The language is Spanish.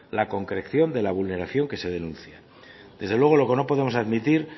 la concreción de la vulneración que se denuncia desde luego lo que no podemos admitir